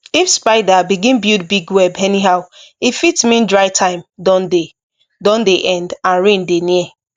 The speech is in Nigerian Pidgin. if spider begin build big web anyhow e fit mean dry time don dey dey end and rain dey near